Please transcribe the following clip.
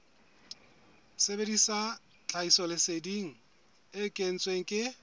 sebedisa tlhahisoleseding e kentsweng ke